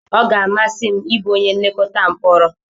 Ọ ga-amasị m ịbụ onye nlekọta mkporo.